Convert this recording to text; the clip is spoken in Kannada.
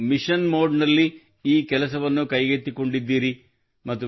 ನೀವು ಮಿಷನ್ ಮೋಡ್ನಲ್ಲಿ ಈ ಕೆಲಸವನ್ನು ಕೈಗೆತ್ತಿಕೊಂಡಿದ್ದೀರಿ